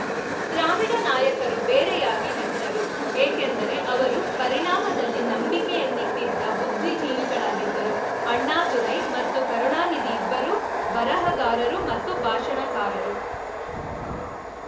ದ್ರಾವಿಡ ನಾಯಕರು ಬೇರೆಯಾಗಿ ನಿಂತರು ಏಕೆಂದರೆ ಅವರು ಪರಿಣಾಮದಲ್ಲಿ ನಂಬಿಕೆಯನ್ನಿಟ್ಟಿದ್ದ ಬುದ್ಧಿಜೀವಿಗಳಾಗಿದ್ದರು ಅಣ್ಣಾದುರೈ ಮತ್ತು ಕರುಣಾನಿಧಿ ಇಬ್ಬರೂ ಬರಹಗಾರರು ಮತ್ತು ಭಾಷಣಕಾರರು